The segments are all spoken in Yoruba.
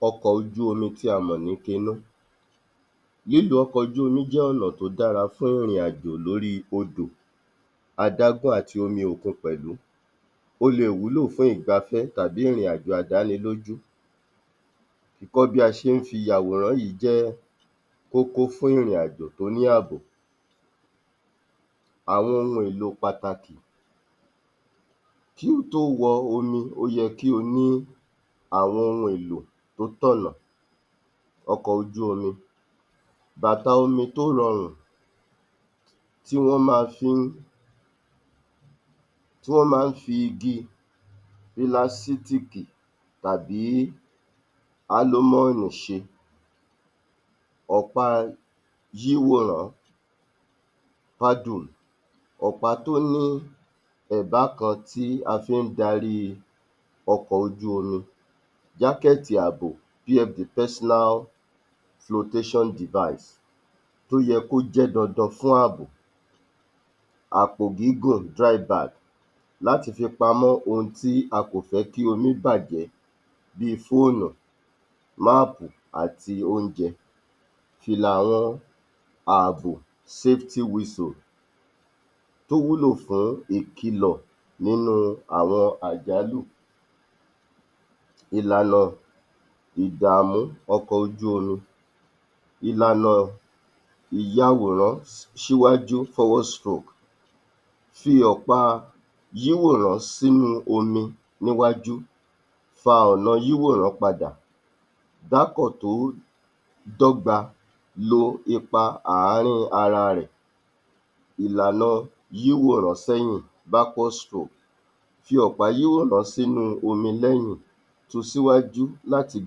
33. Ọkọ̀ ojú omi tí a mọ̀ sí Cano Lílo ọkọ̀ ojú omi jẹ́ ọ̀nà tó dára fún ìrìn-àjò lórí odò, adágún àti omi òkun pẹ̀lú, ó leè wúlò fún ìgbafẹ́ tàbí ìrìn-àjò àdáni lójú, ìkọ́ bí a ṣe ń fi àwòrán yìí jẹ́ kókó fún ìrìn-àjò tó ní ààbò. Àwọn ohun èèlò pàtàkì Kí o tó wọ omi ó yẹ kí o ní àwọn ohun èlò tó tọ̀nà ọkọ̀ ojú omi, bàtà omi tó rọrùn tí wọ́n máa fi ń, tí wọ́n máa ń fi igi ńlá sí um tàbí álómọ́ọ̀nì ṣe, ọ̀pá yíwòràn-án paddle, ọ̀pá tó ní ẹ̀dá kan tí a fi ń darí ọkọ̀ ojú omi, jákẹ́ẹ̀tì àbò um the personal flowtation device, ó yẹ kó jẹ́ dandan fún ààbò, àpò gígùn drive bag láti fi pamọ́, ohun tí a kò fẹ́ kí omi bàjẹ́ bíi fóònù, máàpù àti oúnjẹ, fìlà àwọn ààbò safety whistle, tó wúlò fún ìkìlọ̀ nínú àwọn àjálù. Ìlànà ìdààmú ọkọ̀ ojú omi Ìlànà ìyawòrán ṣíwájú forward stroke fi hàn pá yíwòrán sínú omi níwájú, fa ọ̀nà yíwòrán padà, dákọ̀ tó dọ́gba lo ipa àárín ara rẹ̀, ìlànà yíwòrán sẹ́yìn backward stroke, fi ọ̀pá yíwòrán sínú omi lẹ́yìn sun síwájú láti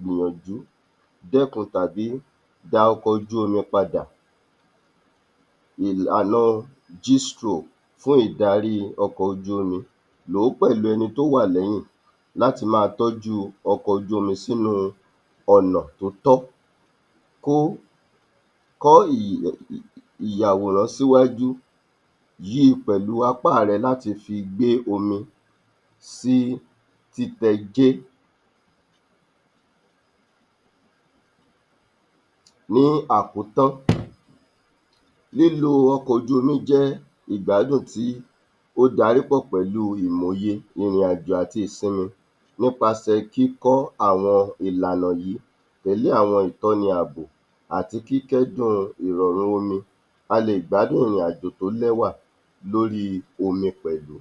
gbìyànjú dẹ́kun tàbí da ọkọjúomi padà. Ìlànà um G stroke Fún ìdarí ọkọ̀ ojú omi, lò ó pẹ̀lú ẹni tó wà lẹ́yìn láti máa tọ́jú ọkọjúomi sínú ọ̀nà tótọ́ kó [umumun] ìyàwòrán síwájú, yí i pẹ̀lú apá rẹ láti fi gbé omi sí títẹ jé. Ní àkótán, lílo ọkọ̀-ojú-omi jẹ́ ìgbádùn tí ó dárípọ̀ pẹ̀lú ìmọ̀ òye ìrìn-àjò àti ìsinmi nípasẹ̀ kíkọ́ àwọn ìlànà yìí pẹ̀lú àwọn ìtánni àbò àti kíkẹ́dùn ìrọ̀rùn omi, a lè gbádùn ìrìn-àjò tó lẹ́wà lórí omi pẹ̀lú.